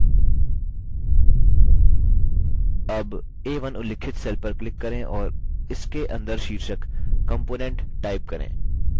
अब a1 उल्लिखित cell पर click करें और इसके अंदर शीर्षक component type करें